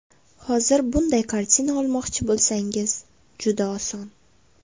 Hozir bunday kartina olmoqchi bo‘lsangiz, juda oson.